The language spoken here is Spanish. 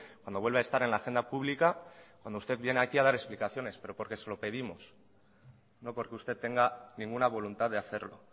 cuando vuelve a estar en la agenda pública cuando usted viene aquí a dar explicaciones pero porque se lo pedimos no porque usted tenga ninguna voluntad de hacerlo